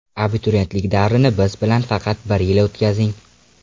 Abituriyentlik davrini biz bilan faqat bir yil o‘tkazing!!!